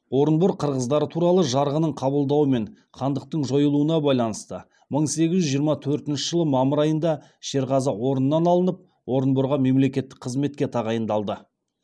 орынбор қырғыздары туралы жарғының қабылдауымен хандықтың жойылуына байланысты мың сегіз жүз жиырма төртінші жылы мамыр айында шерғазы орнынан алынып орынборға мемлекеттік қызметке тағайындалды